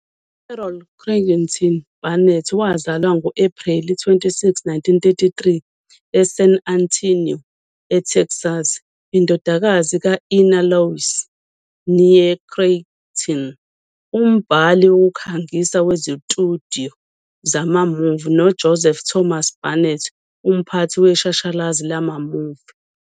UCarol Creighton Burnett wazalwa ngo-Ephreli 26, 1933, eSan Antonio, eTexas, indodakazi ka-Ina Louise, née Creighton, umbhali wokukhangisa wezitudiyo zama-movie, noJoseph Thomas Burnett, umphathi weshashalazi lama-movie.